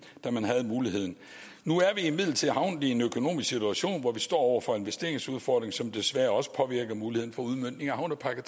da man havde muligheden nu er vi imidlertid havnet i en økonomisk situation hvor vi står over for en investeringsudfordring som desværre også påvirker muligheden for udmøntning af havnepakke